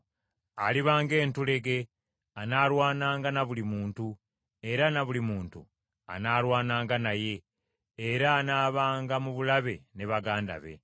Aliba ng’entulege, anaalwananga na buli muntu era na buli muntu anaalwananga naye, era anaabanga mu bulabe ne baganda be.”